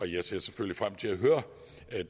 jeg ser selvfølgelig frem til at høre